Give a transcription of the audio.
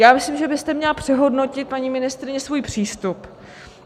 Já myslím, že byste měla přehodnotit, paní ministryně, svůj přístup.